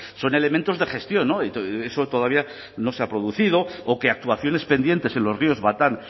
son elementos de gestión eso todavía no se ha producido o que actuaciones pendientes en los ríos batán